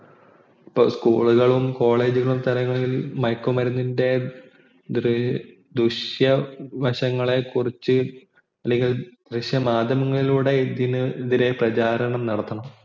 ഇപ്പൊ school ഉകളും college ഉകളും തലങ്ങളിൽ മയക്കുമരുന്നിൻ്റെ ദൂഷ്യവശങ്ങളെ കുറിച്ചു അല്ലെങ്കിൽ ദൃശ്യമാധ്യമങ്ങളിലൂടെ ഇതിനെതിരെ പ്രചാരണം നടത്തണം